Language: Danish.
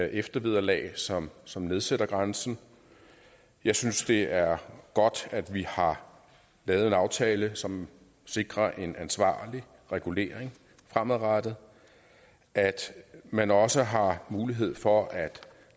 eftervederlag som som nedsætter grænsen jeg synes det er godt at vi har lavet en aftale som sikrer en ansvarlig regulering fremadrettet altså at man også har mulighed for at